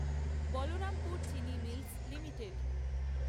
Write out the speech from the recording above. বলরামপুর চিনি mills limited